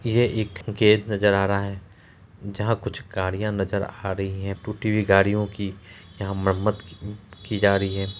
यह एक गैरेज नजर आ रहा है जहाँ कुछ गाड़ियां नजर आ रही है टूटी हुई गाड़ियों की यहाँ मरम्मत की जा रही है।